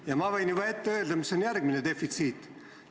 Ja ma võin juba ette öelda, mis on järgmine defitsiit.